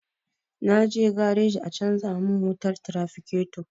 Na je gareji a canja mun wutar tirafiketo